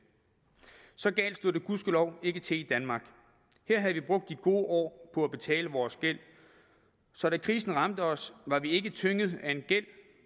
så galt stod det gudskelov ikke til i danmark her havde vi brugt de gode år på at betale vores gæld så da krisen ramte os var vi ikke tynget af en gæld